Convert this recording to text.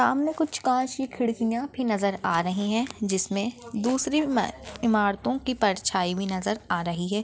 सामने कुछ काछ की खिड़कियाँ भी नज़र आ रही है जिसमे दूसरी इमारतों की परछाई भी नज़र आ रही है।